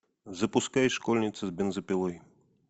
запускай школьница с бензопилой